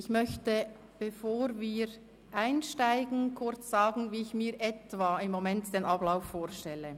Bevor wir einsteigen, möchte ich kurz sagen, wie ich mir im Moment den Ablauf in etwa vorstelle.